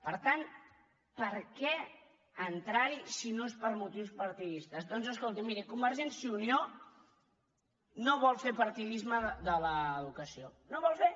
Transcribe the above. per tant per què entrarhi si no és per motius partidistes doncs escolti miri convergència i unió no vol fer partidisme de l’educació no en vol fer